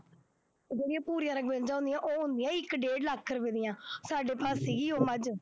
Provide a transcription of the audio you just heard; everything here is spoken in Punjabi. ਉਹ ਜਿਹੜੀਆਂ ਭੂਰੀਆਂ ਰਂੰਗ ਮੱਝਾਂ ਹੁੰਦੀਆਂ ਉਹ ਆਉਂਦੀਆਂ ਇੱਕ ਡੇਢ ਲੱਖ ਰੁਪਏ ਦੀਆਂ, ਸਾਡੇ ਘਰ ਸੀਗੀ ਉਹ ਮੱਝ